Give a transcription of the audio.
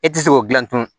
E ti se k'o gilan tugun